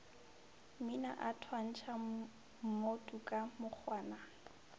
mmina a thwantšha mmotuka mokgwana